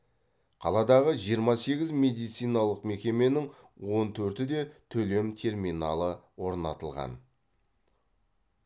қаладағы жиырма сегіз медициналық мекеменің он төртіде төлем терминалы орнатылған